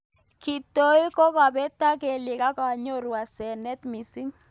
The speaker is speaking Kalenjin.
Kitoi kobetak kelyek ak anyoru asenet mising.